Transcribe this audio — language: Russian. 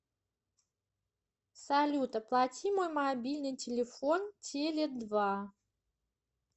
салют оплати мой мобильный телефон теле два